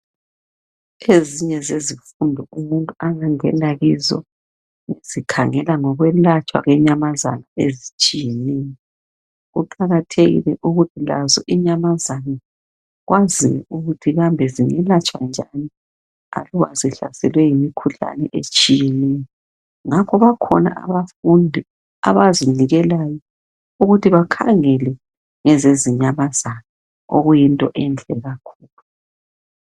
Ezinye zezifundu umuntu angangena kizo zikhangela ngokwelatshwa kwenyamazana ezitshiyeneyo kuqakathekile ukuthi lazo inyamazana bazinike imithi lokuthi zingelatshwa njani aluba zihlaselwe yimikhuhlane etshiyetshiyeneyo ngakho bakhona abafundi abazinikelayo ukuthi bakhangele izinyamazana okuyinto enhle kakhulu